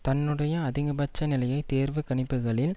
தன்னுடைய அதிகபட்ச நிலையை தேர்வு கணிப்புக்களில்